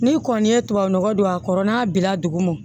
Ni kɔni ye tubabu nɔgɔ don a kɔrɔ n'a bi la dugu ma